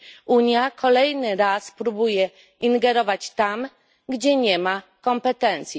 Unia kolejny raz próbuje ingerować tam, gdzie nie ma kompetencji.